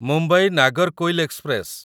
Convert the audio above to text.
Mumbai Nagercoil express